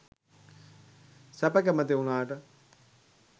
සැප කැමැති වුණාට